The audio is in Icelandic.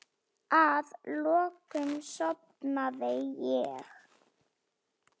Að lokum sofnaði ég.